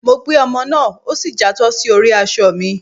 Mọ gbé omò náá, o sí játọ sí orí aṣọ mí